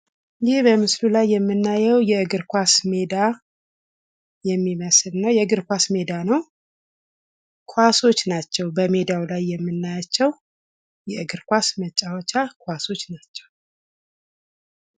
ይህ በምስሉ ላይ የምናየው የእግርኳስ ሜዳ የሚመስል ነው። የእግርኳስ ሜዳ ነው። ኳሶች ናቸው በሜዳው ላይ የምናያቸው። የእግግር ኳስ መጫወቻ ኳሶች ናቸው።